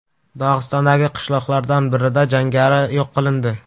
Dog‘istondagi qishloqlardan birida jangari yo‘q qilindi.